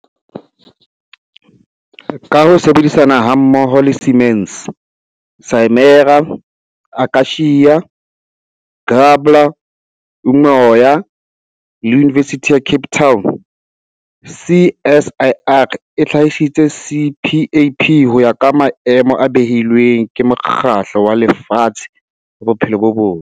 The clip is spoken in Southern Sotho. Ka ho sebedisana hammoho le Siemens, Simera, Akacia, Gabler, Umoya le Yunivesithi ya Cape Town, CSIR e hlahisitse CPAP ho ya ka maemo a beilweng ke Mokgatlo wa Lefatshe wa Bophelo bo Botle.